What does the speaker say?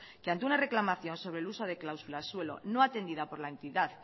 que ante una reclamación sobre el uso de cláusula suela no atendida por la entidad